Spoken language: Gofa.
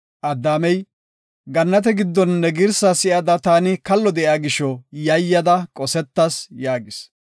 Addaamey, “Gannate giddon ne girsa si7ada taani kallo de7iya gisho yayyada qosetas” yaagis.